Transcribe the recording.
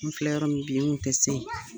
N fila yɔrɔ min bi, ni tun tɛ se yen.